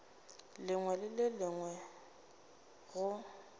lengwe le le lengwe go